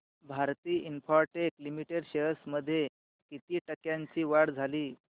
Bharti Infratel limited shares मध्ये किती टक्क्यांची वाढ झाली